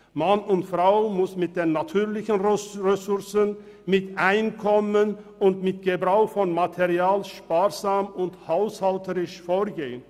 Mann und Frau müssen mit den natürlichen Ressourcen, mit dem Einkommen und mit dem Gebrauch von Material sparsam und haushälterisch umgehen.